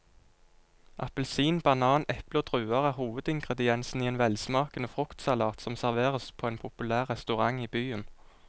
Appelsin, banan, eple og druer er hovedingredienser i en velsmakende fruktsalat som serveres på en populær restaurant i byen.